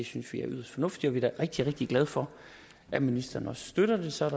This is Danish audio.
synes vi er yderst fornuftigt vi da rigtig rigtig glade for at ministeren også støtter det så er